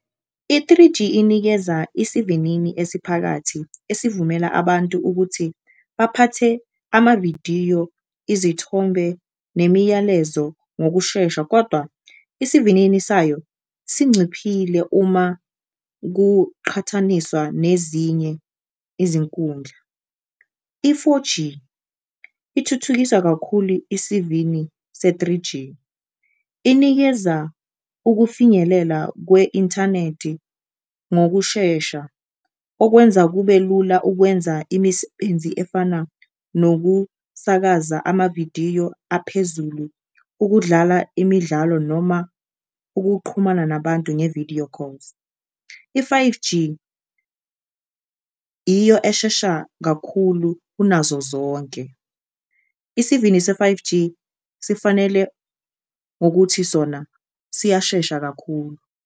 I-three-G inikeza isivinini esiphakathi esivumela abantu ukuthi baphathe amavidiyo, izithombe nemiyalezo ngokushesha, kodwa isivinini sayo singciphile uma kuqhathaniswa nezinye izinkundla. I-four-G ithuthukisa kakhulu isivini se-three-G inikeza ukufinyelela kwe-inthanedi ngokushesha okwenza kube lula ukwenza imisebenzi efana nokusakaza amavidiyo aphezulu, ukudlala imidlalo noma ukuqhumana nabantu nge-video calls. I-five-G iyo eshesha kakhulu kunazo zonke, isivini se-five-G sifanele ngokuthi sona siyashesha kakhulu.